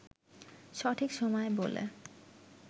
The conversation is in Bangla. সঠিক সময় বলে